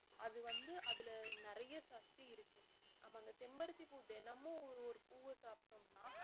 அது வந்து அதுல நிறைய சக்தி இருக்கு நம்ம அந்த செம்பருத்திப்பூ தினமும் ஒரு பூவ சாப்பிட்டோம்னா